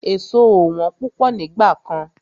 Èso ò wọ́n púpọ̀ nígbà kan.